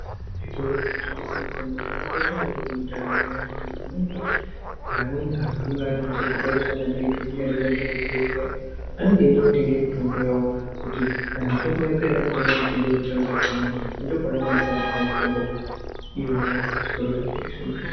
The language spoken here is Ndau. Zvitoro zvinotengese mitombo zvakakosha maningi mundaramo yevantu nekuti pamweni pacho amweni antu anenge ane hosha dzakaita sana bhipi dzisingadi kuenderera kuzvibhedhera anenge eida kutenga mitombo yawo kuti kana mitombo yapera anotenga mitombo yekutamba echimwa ngekuti ndiko kwaanokwanisa kutenga mitombo iyonayo kuzvitoro zvinotengese mitombo.